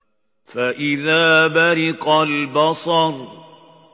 فَإِذَا بَرِقَ الْبَصَرُ